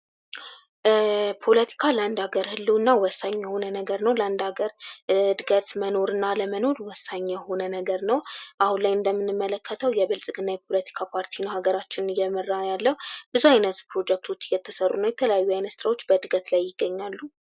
ፖለቲካ ለአንድ ሃገር ህልውና ወሳኝ የሆነ ነገር ነው። ለአንድ ሃገር እድገት መኖር እና አለመኖር ወሳኝ የሆነ ነገር ነው። አሁን ላይ እንደምንመለከተው የብልጽግና የፖለቲካ ፓርቲ ነው ሃገራችንን እየመራ ያለው ብዙ አይነት ፕሮጀክቶች እየተሰሩ ነው። የተለያዩ አይነት ስራዎች በእድገት ላይ ይገኛሉ።